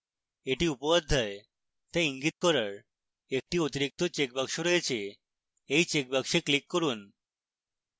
এগুলি উপঅধ্যায় they ইঙ্গিত করার একটি অতিরিক্ত checkbox রয়েছে